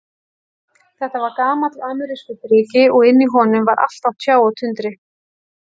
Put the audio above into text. Þetta var gamall amerískur dreki, og inni í honum var allt á tjá og tundri.